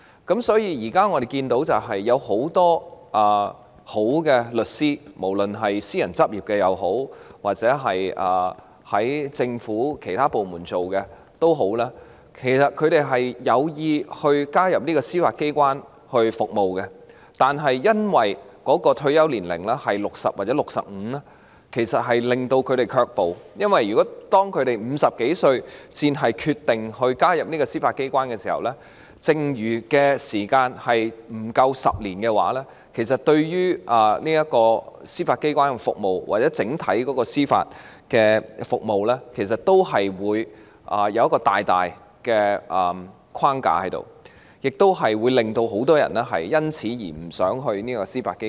因此，現時我們看到很多優秀的律師——無論他們是私人執業或在政府其他部門工作——其實有意加入司法機關服務，但由於退休年齡是60歲或65歲而令他們卻步，因為若他們50多歲才決定加入司法機關，服務年期剩餘不足10年的話，這不但會對司法機關的服務或整體司法服務構成很大的限制，亦會令很多人因而不想加入司法機關。